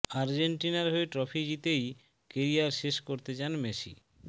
আর্জেন্টিনার হয়ে ট্রফি জিতেই কেরিয়ার শেষ করতে চান মেসি